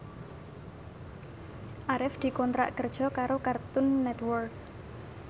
Arif dikontrak kerja karo Cartoon Network